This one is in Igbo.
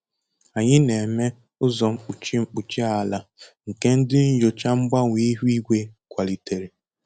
Anyị na-eme ụzọ mkpuchi mkpuchi ala nke ndị nyocha mgbanwe ihu igwe kwalitere